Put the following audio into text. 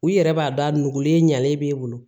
U yɛrɛ b'a dɔn a nugulen ɲalen b'e bolo